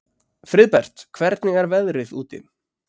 Friðbert, hvernig er veðrið úti?